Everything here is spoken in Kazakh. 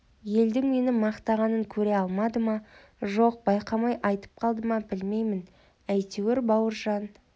елдің мені мақтағанын көре алмады ма жоқ байқамай айтып қалды ма білмеймін әйтеуір бауыржан